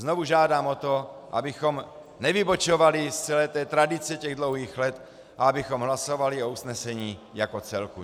Znovu žádám o to, abychom nevybočovali z celé té tradice těch dlouhých let a abychom hlasovali o usnesení jako celku.